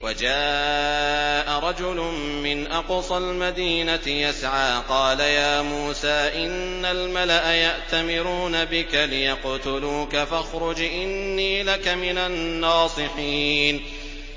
وَجَاءَ رَجُلٌ مِّنْ أَقْصَى الْمَدِينَةِ يَسْعَىٰ قَالَ يَا مُوسَىٰ إِنَّ الْمَلَأَ يَأْتَمِرُونَ بِكَ لِيَقْتُلُوكَ فَاخْرُجْ إِنِّي لَكَ مِنَ النَّاصِحِينَ